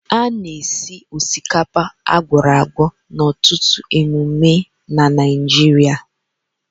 A na-esi osikapa akworagwo n'ọtụtụ emume na Naịjirịa